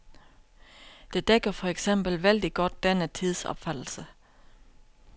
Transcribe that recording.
Det dækker for eksempel vældig godt denne tidsopfattelse.